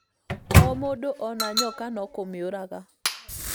O mũndũ ona nyoka no kũmĩũraga